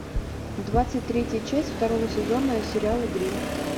двадцать третья часть второго сезона сериала гримм